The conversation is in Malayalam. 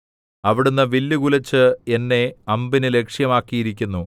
അവിടുന്ന് വില്ലു കുലച്ച് എന്നെ അമ്പിന് ലക്ഷ്യമാക്കിയിരിക്കുന്നു